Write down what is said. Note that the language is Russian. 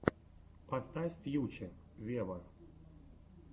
поставь фьюче вево